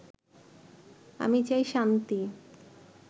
আমি চাই শান্তি